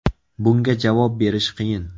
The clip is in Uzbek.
Bunga javob berish qiyin.